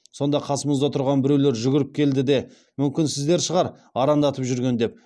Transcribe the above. сонда қасымызда тұрған біреулер жүгіріп келді де мүмкін сіздер шығар арандатып жүрген деп